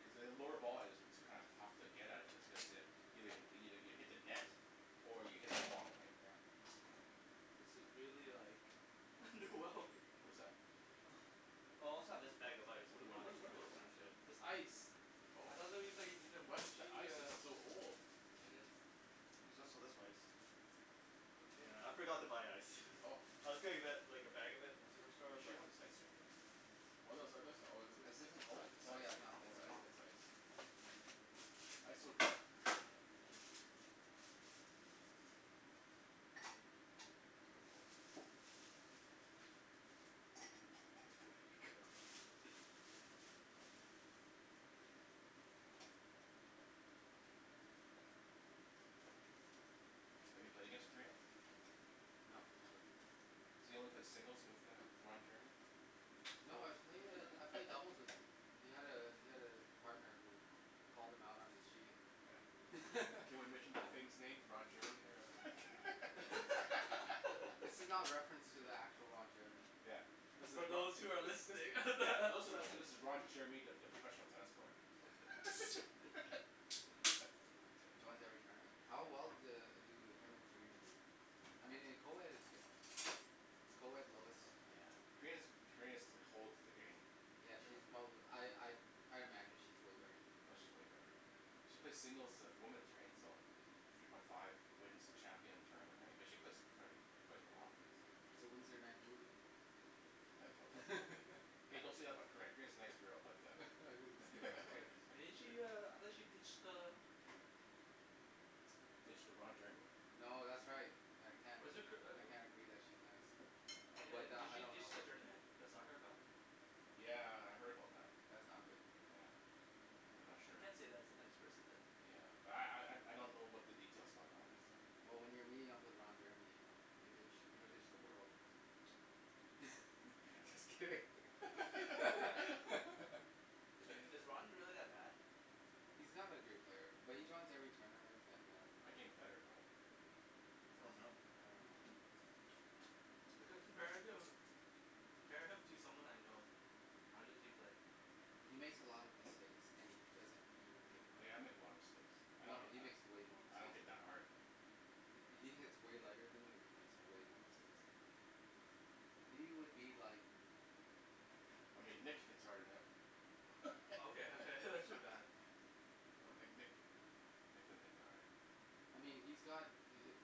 cuz a lower volley is what's kinda tough to get at it just cu- cuz you- you hit the net or you hit it long right? Yeah Right This is really like wrong like What is that? Oh I also have this bag of ice if Whata- you whata- wanna just what try are and those smash things? it. This ice Oh, ice is so old. There's also this ice, yeah I forgot to buy ice, I was gonna li- like a bag of it from superstore She but wants ice cream in it? This isn't cold? Oh yeah not cold yet Have you played against Korina? No So you only played singles with uh Roger? No I've played I've played doubles with him, he had a he had a partner who called him out on his cheating. Can we mention the famous name Ron Jeremy there. This is not reference to the actual Ron Jeremy Yeah, this is a So yeah, those who are listening those that are listening this is Ron Jeremy the professional tennis player. He joins every tournament. How well do do him and Karina do? I mean in co-ed it's different. In co-ed low is Karina's Karina's holds the game Yeah she's probably I I I imagine she's way better than him. Oh she's way better. She plays singles of women's right, so, three point five wins the champion tournament right, she play profe, she plays a lot So when's their next movie? hey don't say that in my crib, Karina's a nice girl but uh Didn't she uh, I thought she ditched uh Ditch to Ron Jeremy No that's right I Was it Kir- uh I can't agree that she's nice, Yeah, but did I she don't know ditched the her. tournament, the cup? Yeah. Yeah, I heard about that. That's not good. Yeah, I'm not I sure. can't say that's a nice person than. Yeah, but I I don't know what the details about that one is, so Well when you're meeting up with Ron Jeremy, you ditch, you you'll ditch the world just Yeah. kidding Is is Ron really that bad? He's not a great player but he joins every tournament and um Looking better though Oh no. I don't know. compare him compare him to someone I know, how did he play? He makes a lot of mistakes and he doesn't even hit hard Yeah, I make a lot of mistakes, I don't No he hit makes way more I don't mistakes hit than that you hard He he hits way lighter than you and he makes way more mistakes. He would be like I mean Nick hits hard than him Okay okay Uh Nick Nick, Nick doesn't hit that hard I mean he's got the hit